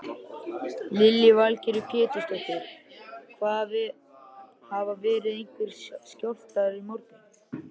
Lillý Valgerður Pétursdóttir: Hafa verið einhverjir skjálftar í morgun?